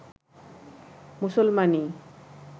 মুসলমানি